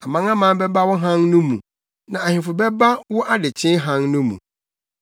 Amanaman bɛba wo hann no mu, na Ahemfo bɛba wo adekyee hann no mu.